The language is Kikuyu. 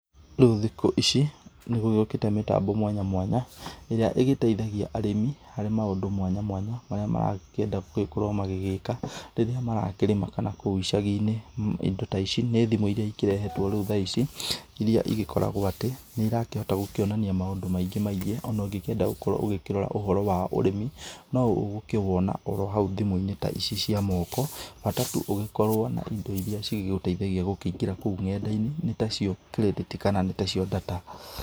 Rĩu thikũ ici nĩ gũgĩũkĩte mĩtambo mwanya mwanya ĩrĩa ĩgĩteithagia arĩmi harĩ maũndũ mwanya mwanya marĩa maragĩkĩenda gũkorwo magĩgĩka rĩrĩa marakĩrĩma kana kũu icagi-inĩ ,indo ta ici nĩ thimũ irĩa ikĩrehetwo rĩu tha ici irĩa igĩkoragwo atĩ nĩ ĩrakĩhota kuonania maũndũ maingĩ maingĩ ona ũgĩkĩenda gũkorwo ũkĩrora ũhoro wa ũrĩmi no ũgũkĩwona haũ thimũ-inĩ ta ici cia moko bata tũ ũgĩkorwo na indo irĩa cigũteithagia gũkĩingĩra kũu nenda-inĩ nĩ ta cio kirĩdĩti kana nĩ ta cio data.